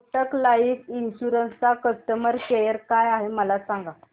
Kotak life insurance चा customer care काय आहे मला सांगा